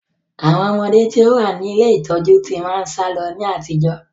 Àwọn ọmọde tí ó wá ní ilé ìtọ́jú tí máa ń sálọ ní àtijọ́